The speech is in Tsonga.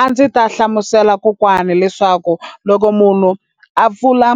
A ndzi ta hlamusela kokwana leswaku loko munhu a pfula